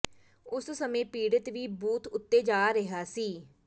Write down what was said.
ਉਸ ਸਮੇਂ ਪੀੜਤ ਵੀ ਬੂਥ ਉਤੇ ਜਾ ਰਿਹਾ ਸੀ